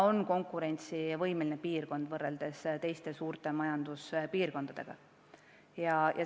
Euroopa peab suutma teiste suurte majanduspiirkondadega konkureerida.